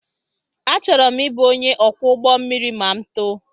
Achọrọ m ịbụ onye ọkwọ ụgbọ mmiri ma m too